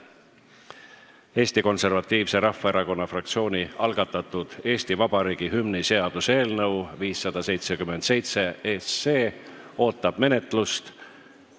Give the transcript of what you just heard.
Eesti Konservatiivse Rahvaerakonna fraktsiooni algatatud Eesti Vabariigi hümni seaduse eelnõu 577 ootab menetlust.